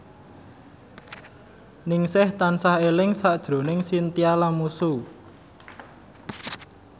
Ningsih tansah eling sakjroning Chintya Lamusu